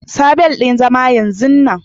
Sa bel ɗin zama yanzun nan!